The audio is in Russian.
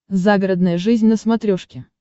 загородная жизнь на смотрешке